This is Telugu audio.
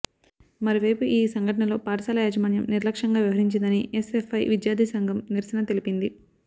మరోవైపు ఈ సంఘటనలో పాఠశాల యాజమాన్యం నిర్లక్ష్యంగా వ్యవహరించిందని ఎస్ఎఫ్ఐ విద్యార్థి సంఘం నిరసన తెలిపింది